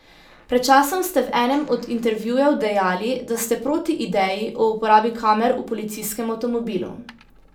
Pred časom ste v enem od intervjujev dejali, da ste proti ideji o uporabi kamer v policijskem avtomobilu.